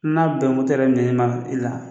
N'a bɛ motɛri minɛna e la.